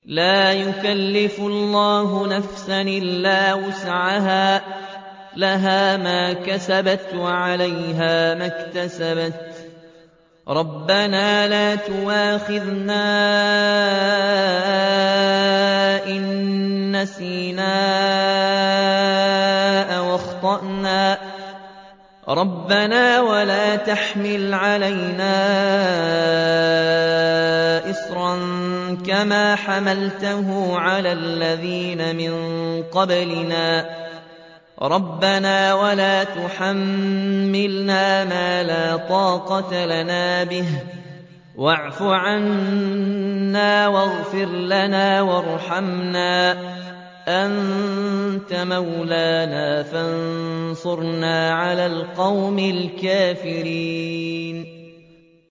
لَا يُكَلِّفُ اللَّهُ نَفْسًا إِلَّا وُسْعَهَا ۚ لَهَا مَا كَسَبَتْ وَعَلَيْهَا مَا اكْتَسَبَتْ ۗ رَبَّنَا لَا تُؤَاخِذْنَا إِن نَّسِينَا أَوْ أَخْطَأْنَا ۚ رَبَّنَا وَلَا تَحْمِلْ عَلَيْنَا إِصْرًا كَمَا حَمَلْتَهُ عَلَى الَّذِينَ مِن قَبْلِنَا ۚ رَبَّنَا وَلَا تُحَمِّلْنَا مَا لَا طَاقَةَ لَنَا بِهِ ۖ وَاعْفُ عَنَّا وَاغْفِرْ لَنَا وَارْحَمْنَا ۚ أَنتَ مَوْلَانَا فَانصُرْنَا عَلَى الْقَوْمِ الْكَافِرِينَ